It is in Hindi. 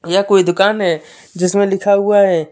यह कोई दुकान है जिसमें लिखा हुआ है।